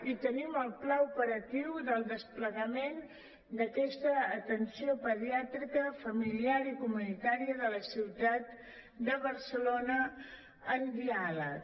i tenim el pla operatiu del desplegament d’aquesta atenció pediàtrica familiar i comunitària de la ciutat de barcelona en diàleg